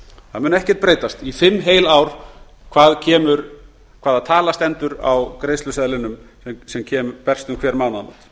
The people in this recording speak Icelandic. það mun ekkert breytast í heil fimm ár hvaða tala stendur á greiðsluseðlinum sem berst um hver mánaðamót